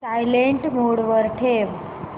silent mode वर ठेव